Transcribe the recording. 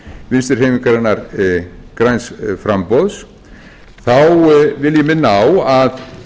vinstri hreyfingarinnar græns framboðs vil ég minna á að